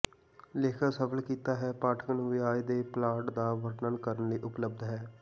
ਲੇਖਕ ਸਫਲ ਕੀਤਾ ਹੈ ਪਾਠਕ ਨੂੰ ਵਿਆਜ ਦੇ ਪਲਾਟ ਦਾ ਵਰਣਨ ਕਰਨ ਲਈ ਉਪਲਬਧ ਹੈ